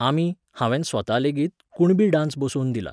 आमी, हांवेन स्वता लेगीत, कुणबी डान्स बसोवन दिला